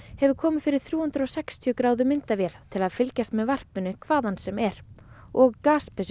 hefur komið fyrir þrjú hundruð og sextíu gráðu myndavél til að fylgjast með varpinu hvaðan sem er og